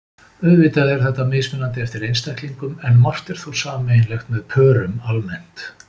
Auðvitað er þetta mismunandi eftir einstaklingum en margt er þó sameiginlegt með pörum almennt.